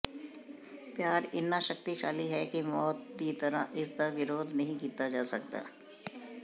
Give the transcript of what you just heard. ਪਿਆਰ ਇੰਨਾ ਸ਼ਕਤੀਸ਼ਾਲੀ ਹੈ ਕਿ ਮੌਤ ਦੀ ਤਰ੍ਹਾਂ ਇਸ ਦਾ ਵਿਰੋਧ ਨਹੀਂ ਕੀਤਾ ਜਾ ਸਕਦਾ